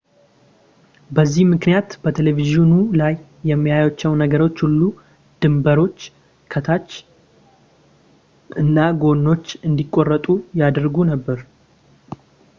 በዚህ ምክንያት፣ በቴሌቪዥኑ ላይ የሚያዩዋቸው ነገሮች ሁሉ ድንበሮች ፣ ከላይ ፣ ታች እና ጎኖች እንዲቆረጡ ያደርጉ ነበር